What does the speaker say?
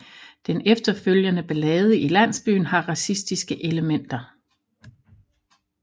Den efterfølgende ballade i landsbyen har racistiske elementer